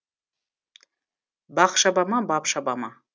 бақ шаба ма бап шаба ма